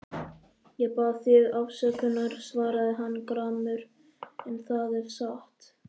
Ég bað þig afsökunar, svaraði hann gramur,-en það er satt.